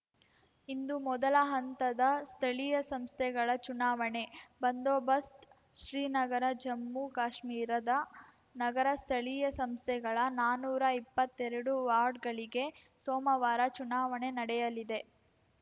ಇಂದು ಮೊದಲ ಹಂತದ ಸ್ಥಳೀಯ ಸಂಸ್ಥೆಗಳ ಚುನಾವಣೆ ಬಂದೋಬಸ್ತ್ ಶ್ರೀನಗರ ಜಮ್ಮುಕಾಶ್ಮೀರದ ನಗರ ಸ್ಥಳೀಯ ಸಂಸ್ಥೆಗಳ ನಾನೂರ ಇಪ್ಪತ್ತೆರಡು ವಾರ್ಡ್‌ಗಳಿಗೆ ಸೋಮವಾರ ಚುನಾವಣೆ ನಡೆಯಲಿದೆ